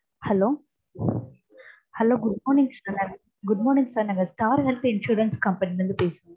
hello hello good morning sir good morning sir நாங்க star health insurance company ல இருந்து பேசுறோம்.